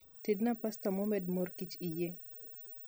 tedna pasta momed mor kich eiye